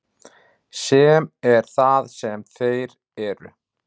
Sem er það sem þeir eru.